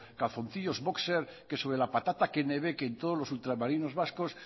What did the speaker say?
calzoncillos bóxer que sobre la patata kennebec que en todos los ultramarinos vascos